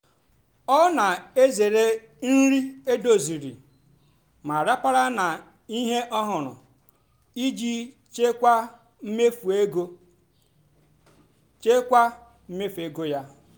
ọ́ nà-èzèré nrì édòzírí mà ràpárá nà íhé ọ́hụ́rụ́ ìjì chị́kwáà mméfú égó chị́kwáà mméfú égó yá.